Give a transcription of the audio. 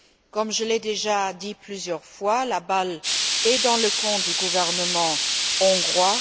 Comme je l'ai déjà dit plusieurs fois, la balle est dans le camp du gouvernement hongrois.